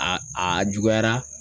A aa juguyara